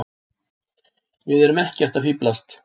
Við erum ekkert að fíflast.